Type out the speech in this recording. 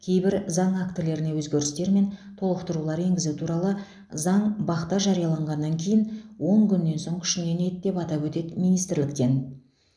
кейбір заң актілеріне өзгерістер мен толықтырулар енгізу туралы заң бақ та жарияланғаннан кейін он күннен соң күшіне енеді деп атап өтеді министрліктен